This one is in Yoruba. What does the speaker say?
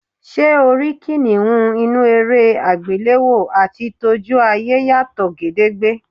S̩e o rí kìnìún inú eré àgbéléwò àti tójú ayé yàtò̩ gedegbe.